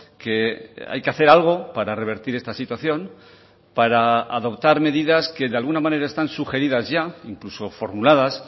que hay que hacer algo para revertir esta situación para adoptar medidas que de alguna manera están sugeridas ya incluso formuladas